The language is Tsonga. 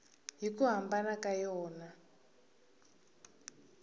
hi ku hambana ka yona